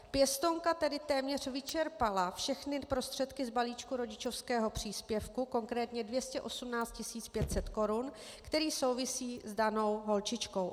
Pěstounka tedy téměř vyčerpala všechny prostředky z balíčku rodičovského příspěvku, konkrétně 218 500 korun, který souvisí s danou holčičkou.